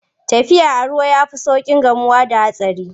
Tafiya a ruwa ya fi sauƙin gamuwa da hatsari.